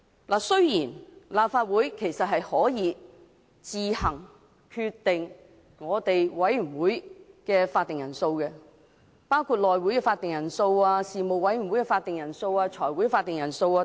當然，立法會可以自行決定委員會的法定人數，包括內務委員會、各事務委員會、財務委員會的法定人數。